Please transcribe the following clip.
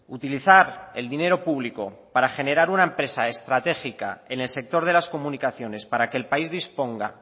utilizar el dinero público para generar una empresa estratégica en el sector de las comunicaciones para que el país disponga